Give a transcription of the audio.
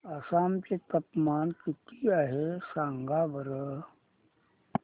आसाम चे तापमान किती आहे सांगा बरं